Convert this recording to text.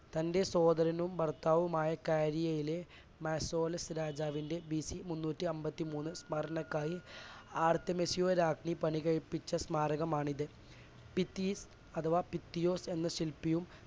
തൻറെ സോദരനും ഭർത്താവുമായ ക്യാരിയയിലെ മാസേലോസ് രാജാവിൻറെ ബിസി മുന്നൂറ്റിഅൻപത്തിമൂന്ന് സ്മരണയ്ക്കായി ആർത്യമേഷ്യാ രാജ്ഞി പണി കഴിപ്പിച്ച സ്മാരകമാണിത്. ബിത്തിത് അഥവാ ബിത്തിയോസ് എന്ന ശില്പിയും